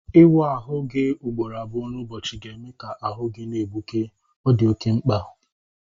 Iwu ahụ gị ugboro abụọ n'ụbọchị ga-eme ka ahu gị na-egbuke. Ọ di oké mkpa